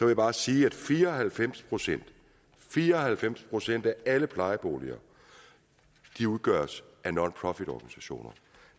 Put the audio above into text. jeg bare sige at fire og halvfems procent fire og halvfems procent af alle plejeboliger udgøres af nonprofitorganisationer